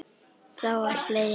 Þá var hlegið.